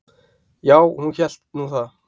"""Já, hún hélt nú það."""